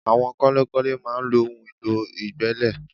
Àwọn kọ́lékọ́lé máa ń lo ohun èlò ìgbẹ́lẹ̀